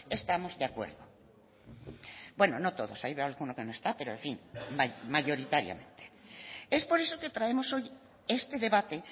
estamos de acuerdo bueno no todos ahí veo alguno que no está pero en fin vaya mayoritariamente es por esto que traemos hoy este debate